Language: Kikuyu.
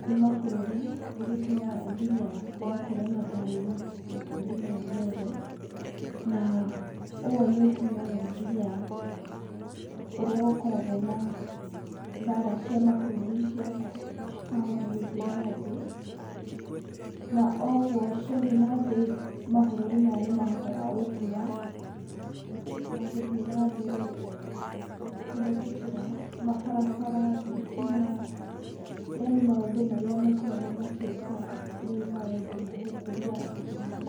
kwĩ mabũrũri nĩgũtũmaga nginya gũgakorwo na thayũ mabũrũri maya mothe. Na ũũ nĩũtũmaga nginya ũrĩa gũkoragwo na mbara cia mabũrũri cikahota gũthiĩ na thĩ, na ũguo ciathiĩ nathĩ mabũrũri maya nĩmahotaga gũkũra, na gũthiĩ na mbere kũhĩtũkĩra mabarabara, thitima, yani maũndũ marĩa makoragwo makĩũka nĩ maũndũ ma gũkũria bũrũri.